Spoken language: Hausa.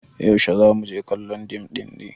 yaushe za mu je kallon dim ɗin ne